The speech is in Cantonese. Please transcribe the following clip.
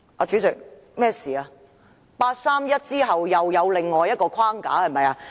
是否在八三一決定之後，又出現另一框架？